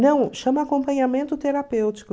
Não, chama acompanhamento terapêutico.